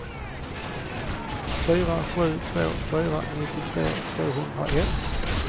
fyra sju två fyra nittiotvå tvåhundraett